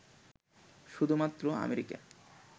শুধুমাত্র আমেরিকা